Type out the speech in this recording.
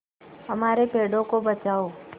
हमारे पेड़ों को बचाओ